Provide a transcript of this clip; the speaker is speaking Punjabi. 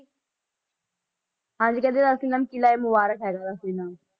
ਹਾਂਜੀ ਕਹਿੰਦੇ ਇਹਦਾ ਅਸਲੀ ਨਾਮ ਕਿਲ੍ਹਾ ਏ ਮੁਬਾਰਕ ਹੈਗਾ ਅਸਲੀ ਨਾਮ।